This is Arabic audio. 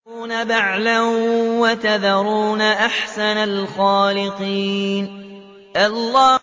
أَتَدْعُونَ بَعْلًا وَتَذَرُونَ أَحْسَنَ الْخَالِقِينَ